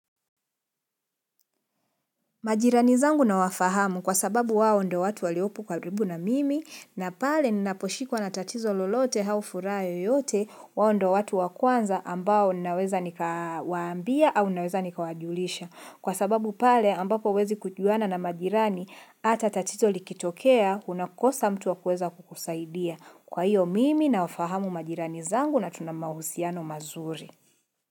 Majirani zangu na wafahamu kwa sababu wao ndio watu waliopo karibu na mimi na pale ninaposhikwa na tatizo lolote au furaha yoyote, wao ndio watu wa kwanza ambao naweza nikawaambia au naweza nikawajulisha. Kwa sababu pale ambapo huwezi kujuana na majirani, ata tatizo likitokea unakosa mtu wa kuweza kukusaidia. Kwa hio mimi nawafahamu majirani zangu na tuna mahusiano mazuri.